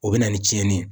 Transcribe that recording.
O bɛ na ni cɛnni ye